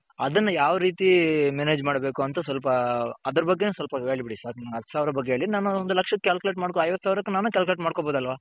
ಅದುನ್ನ ಯಾವ್ ರೀತಿ manage ಮಾಡ್ಬೇಕು ಅಂತ ಸ್ವಲ್ಪ ಅದ್ರ ಬಗೆನ್ನು ಸ್ವಲ್ಪ ಹೇಳ್ಬಿಡಿ ಹತ್ತು ಸಾವಿರ ಬಗ್ಗೆ ಹೇಳಿ ನಾನು ಒಂದು ಲಕ್ಸ್ಹcalculate ಐವತ್ ಸಾವಿರಕ್ಕೆ ನಾನೆ calculate ಮಾಡ್ಕೊಬೋದು ಅಲ್ವ .